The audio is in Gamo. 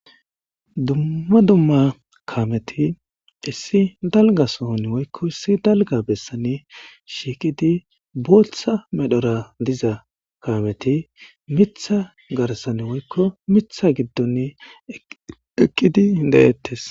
Dumma dumma kaameti issi dalgga sohon woykko issi dalgga bessan shiiqqidi booththa medhora diiza kaameti miththa garssan woykko miththa giddon eqqidi de'ettes.